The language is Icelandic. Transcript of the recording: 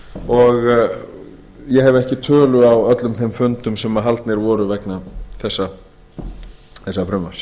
og ég hef ekki tölu á öllum þeim fundum sem haldnir voru vegna þessa frumvarps